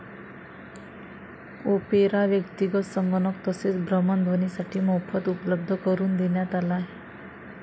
Opera व्यक्तीगत संगणक तसेच भ्रमणध्वनीसाठी मोफत उपलब्ध करून देण्यात आला आहे.